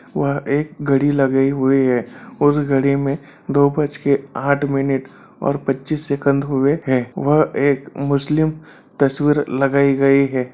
वह एक घड़ी लगाई हुई है उस घड़ी में दो बज के आठ मिनट और पच्चीस सेकंड हुए है वह एक मुस्लिम तस्वीर लगाई गई है।